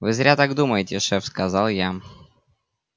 вы зря так думаете шеф сказал я